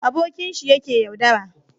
abokinshi ya ke yaudara